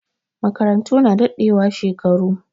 Makarantu na dadewa shekaru